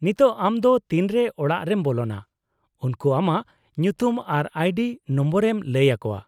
-ᱱᱤᱛᱚᱜ ᱟᱢ ᱫᱚ ᱛᱤᱱᱨᱮ ᱚᱲᱟᱜ ᱨᱮᱢ ᱵᱚᱞᱚᱱᱟ, ᱩᱱᱠᱩ ᱟᱢᱟᱜ ᱧᱩᱛᱩᱢ ᱟᱨ ᱟᱭᱰᱤ ᱱᱚᱢᱵᱚᱨᱮᱢ ᱞᱟᱹᱭ ᱟᱠᱚᱣᱟ ᱾